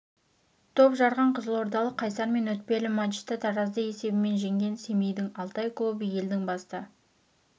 топ жарған қызылордалық қайсар мен өтпелі матчта таразды есебімен жеңген семейдің алтай клубы елдің басты